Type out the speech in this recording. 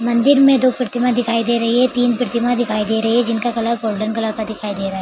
मंदिर में दो प्रतिमा दिखाई दे रही है तीन प्रतिमा दिखाई दे रही है जिनका कलर गोल्डन कलर का दिखाई दे रहा है ।